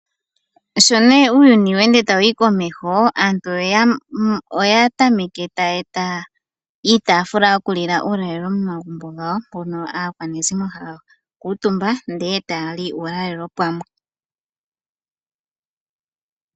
Sho nee uuyuni we ende tawuyi komeho aantu oya tameke taya eta iitafula yoku lila momagumbo mpono aakwanezimo haya kuutumba etaya lile uulalelo pamwe.